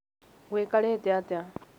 gũikarĩte atĩa?